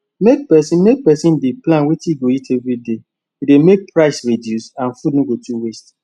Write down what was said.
make person make person dey plan wetin e go eat everyday dey make price reduce and food no go too waste